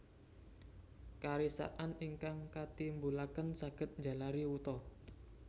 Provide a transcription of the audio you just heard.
Karisakan ingkang katimbulaken saged njalari wuta